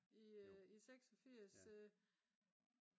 i 86